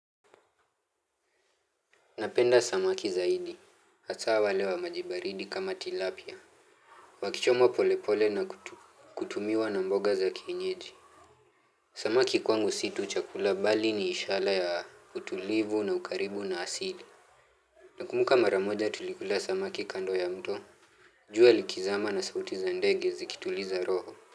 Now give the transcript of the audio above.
Napenda samaki zaidi. Hataa wale wa maji baridi kama tilapia. Wakichomwa polepole na kutumiwa na mboga za kienyeji. Samaki kwangu si tu chakula bali ni ishala ya utulivu na ukaribu na asili. Nakumuka mara moja tulikula samaki kando ya mto. Jua likizama na sauti za ndege zikituliza roho.